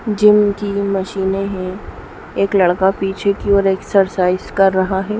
Gym की मशीने है एक लड़का पीछे की ओर एक्सरसाइज़ कर रहा है।